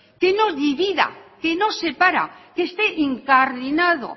que no divida que no separe que esté incardinado